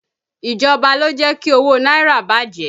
Ìjọba lọ jẹ́ kí owó náírà bàjẹ́